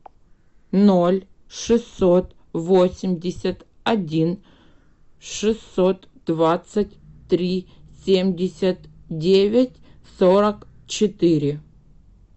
ноль шестьсот восемьдесят один шестьсот двадцать три семьдесят девять сорок четыре